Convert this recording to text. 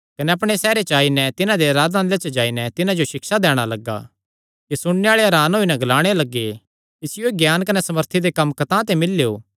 कने अपणे सैहरे च आई नैं तिन्हां दे आराधनालय च जाई नैं तिन्हां जो सिक्षा दैणा लग्गा कि सुणने आल़े हरान होई नैं ग्लाणे लग्गे इसियो एह़ ज्ञान कने सामर्थी दे कम्म कतांह ते मिल्लेयो